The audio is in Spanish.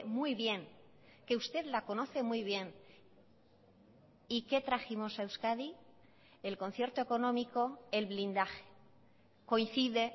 muy bien que usted la conoce muy bien y qué trajimos a euskadi el concierto económico el blindaje coincide